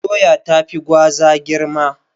Doya tafi Gwaza girma.